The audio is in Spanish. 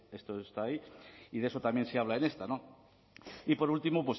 esto está ahí y de eso también se habla en esta y por último